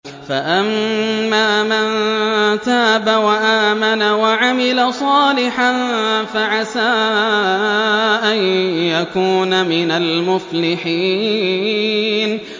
فَأَمَّا مَن تَابَ وَآمَنَ وَعَمِلَ صَالِحًا فَعَسَىٰ أَن يَكُونَ مِنَ الْمُفْلِحِينَ